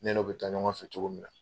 Ne no bɛ taa ɲɔgɔn fɛ cogo min na.